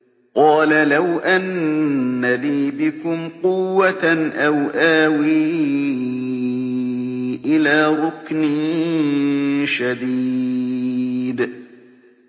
قَالَ لَوْ أَنَّ لِي بِكُمْ قُوَّةً أَوْ آوِي إِلَىٰ رُكْنٍ شَدِيدٍ